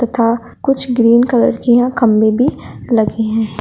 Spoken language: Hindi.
तथा कुछ ग्रीन कलर के यहां खंभे भी लगे है।